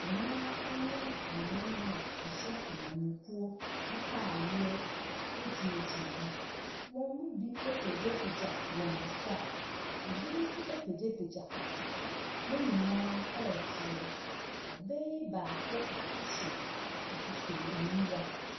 Mmaa ne mmarima a wɔhyɛ amanyɔkuo ataadeɛ gyinagyina hɔ. Wɔn mu bi apagyapagya wɔn nsa, bi nso apagyapagya papa, wɔn nyinaa ɛresere. Ɔbaa yi baako hyɛ ahwehwɛniwa.